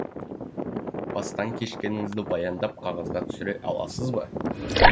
бастан кешкеніңізді баяндап қағазға түсіре аласыз ба